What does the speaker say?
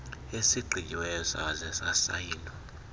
esigqityiweyo saze sasayinwa